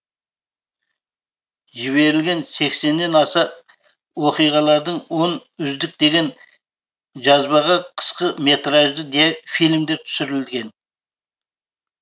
жіберілген сексеннен аса оқиғалардың он үздік деген жазбаға қысқы метражды фильмдер түсірілген